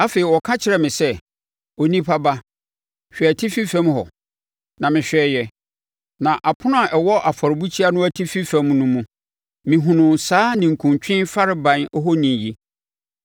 Afei, ɔka kyerɛɛ me sɛ, “Onipa ba, hwɛ atifi fam hɔ.” Na mehwɛeɛ, na ɛpono a ɛwɔ afɔrebukyia no atifi fam no mu, mehunuu saa ninkuntwe farebae ohoni yi.